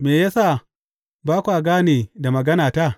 Me ya sa ba kwa gane da maganata?